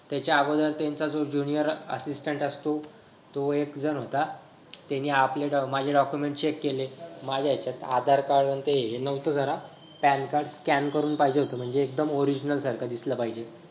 त्याच्या अगोदर त्यांचा जो junior assistant असतो तो एक जण होता. त्यानी आपले अं माझे document check केले माझ्या हेच्यात आधार Card आणि ते हे नव्हतं जरा PAN card scan करून पाहिजे होत म्हणजे एकदम original सारखं दिसलं पाहिजे.